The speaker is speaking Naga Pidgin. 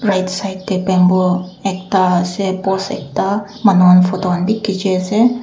right side te bamboo ekta ase post ekta manu khan photo bhi khechi ase.